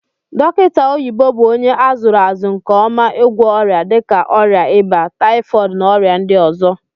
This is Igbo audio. Dokita oyibo bu onye azuru azu nke oma igwo oria dika oria iba, typhooid na oria ndi ozo.